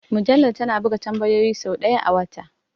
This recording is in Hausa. Mujallar tana buga tambayoyin sau ɗaya a wata?